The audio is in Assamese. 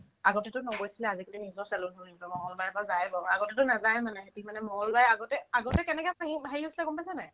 আগতেতো নগৈছে আহি কিনে নিজৰ চেলুন হ'ল নিজৰ মংগলবাৰেতো যাই বজাৰ আগতেতো নাযায়ে মানে সিক মংগলবাৰে আগতে আগতে কেনেকে খাইহি হেৰি হৈছিলে গম পাইছানে নাই